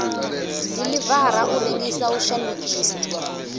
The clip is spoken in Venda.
diḽivara u rengisa u shandukisa